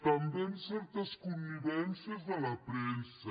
també amb certes connivències de la premsa